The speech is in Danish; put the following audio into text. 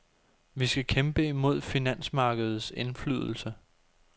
Vi skal kæmpe imod finansmarkedets indflydelse.